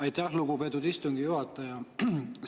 Aitäh, lugupeetud istungi juhataja!